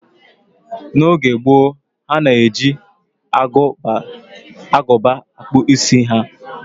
N'oge gboo, ha na-eji agụba akpụ isi ha